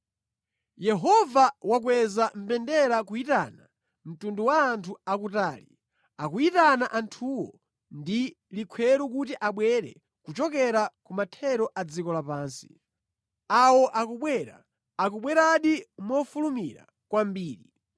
Yehova wakweza mbendera kuyitana mtundu wa anthu akutali, akuyitana anthuwo ndi likhweru kuti abwere kuchokera ku mathero a dziko lapansi. Awo akubwera, akubweradi mofulumira kwambiri!